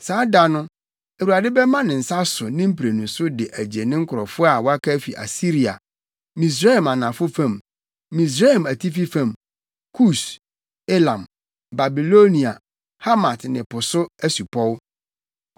Saa da no, Awurade bɛma ne nsa so ne mprenu so de agye ne nkurɔfo a wɔaka afi Asiria, Misraim anafo fam, Misraim atifi fam, Kus, Elam, Babilonia, Hamat ne Po so asupɔw.